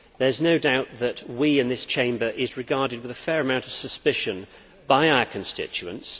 There is no doubt that we in this Chamber are regarded with a fair amount of suspicion by our constituents.